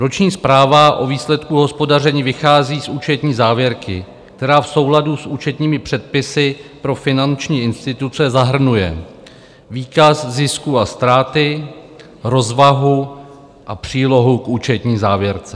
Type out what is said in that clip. Roční zpráva o výsledku hospodaření vychází z účetní závěrky, která v souladu s účetními předpisy pro finanční instituce zahrnuje výkaz zisku a ztrát, rozvahu a přílohu k účetní závěrce.